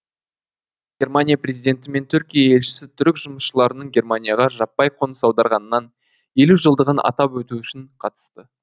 германия президенті мен түркия елшісі түрік жұмысшыларының германияға жаппай қоныс аударғанынан елу жылдығын атап өту үшін қатысты